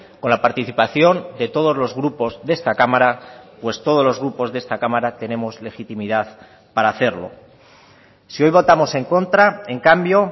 con la participación de todos los grupos de esta cámara pues todos los grupos de esta cámara tenemos legitimidad para hacerlo si hoy votamos en contra en cambio